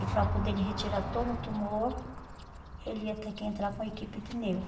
E para poder ele retirar todo o tumor, ele ia ter que entrar com a equipe de neuro.